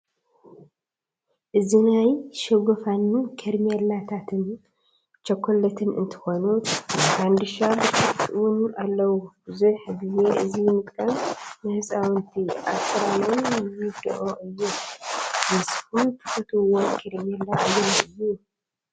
እዚ ናይ ሽገፉን ኬሬሜላታትን ቸኮለትን እንትኮኑ ናይ ፋንድሻ ብሽኩቲ እውን ኣለው። ብዙሕ ግዜ እዚ ምጥቃም ንህፃውንቲ ኣስራኖም ይድኦ እዩ። ንስኩም ትፈትውዎ ኬሬምላ ኣየናይ እዩ?